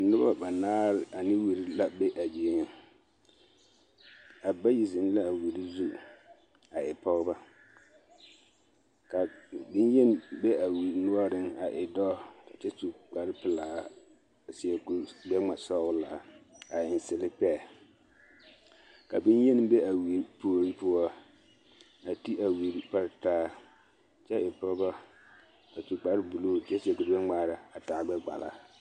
Noba banaare ane wiri la be a zie ŋa a bayi zeŋ la a wiri zu a e pɔgeba ka bonyeni be a wiri noɔreŋ a e dɔɔ kyɛ su kpare pelaa a seɛ kuri gbɛ-ŋma-sɔgelaa a eŋ selepɛɛ ka bonyeni be a wiri puori poɔ a ti a wiri pare taa kyɛ e pɔgɔ a su kpare buluu kyɛ seɛ kure gbɛ-ŋmaara a taa gbɛ-kpala.